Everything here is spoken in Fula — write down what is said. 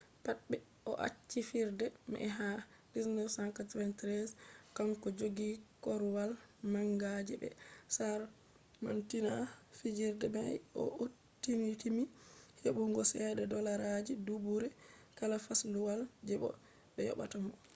pat ɓe o'acci fijirde mai ha 1993 kanko joggi korwal manga je be samardinta fijirde mai bo o'timmiti heɓugo ceede dollarji duubure kala fasluwal je ko be yobata mo